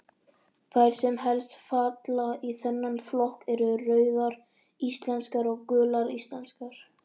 Þær sem helst falla í þennan flokk eru Rauðar íslenskar og Gular íslenskar.